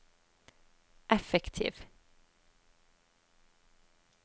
effektiv